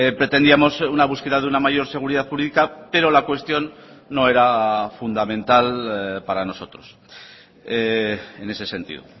pretendíamos una búsqueda de una mayor seguridad jurídica pero la cuestión no era fundamental para nosotros en ese sentido